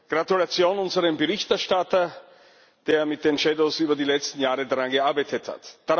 Gratulation an unseren Berichterstatter, der mit den über die letzten Jahre daran gearbeitet hat.